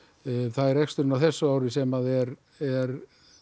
er reksturinn á þessu ári sem er er